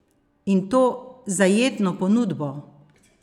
In to zajetno ponudbo!